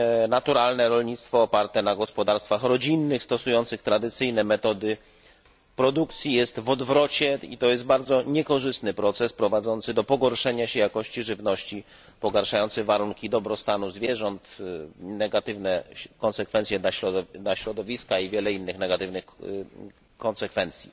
Naturalne rolnictwo oparte na gospodarstwach rodzinnych, stosujących tradycyjne metody produkcji jest w odwrocie i to jest bardzo niekorzystny proces prowadzący do pogorszenia się jakości żywności, pogorszenia warunków dobrostanu zwierząt, negatywnych konsekwencji dla środowiska i wielu innych negatywnych konsekwencji.